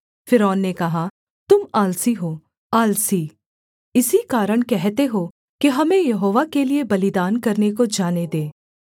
फ़िरौन ने कहा तुम आलसी हो आलसी इसी कारण कहते हो कि हमें यहोवा के लिये बलिदान करने को जाने दे